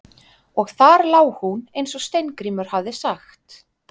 Og þar lá hún eins og Steingrímur hafði sagt.